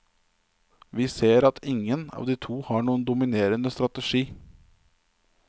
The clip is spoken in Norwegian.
Vi ser at ingen av de to har noen dominerende strategi.